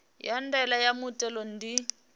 ya ndaela ya muthelo ndi